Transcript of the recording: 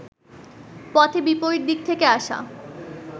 পথে বিপরীত দিক থেকে আসা